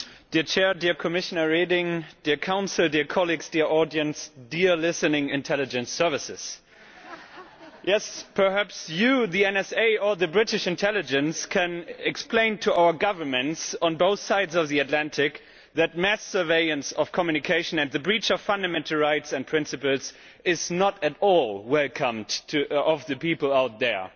Mr President, dear Commissioner Reding, dear Council, dear colleagues, dear audience, dear listening intelligence services yes, perhaps you, the NSA or British intelligence, can explain to our governments on both sides of the Atlantic that mass surveillance of communication and the breach of fundamental rights and principles is not at all welcome to the people out there.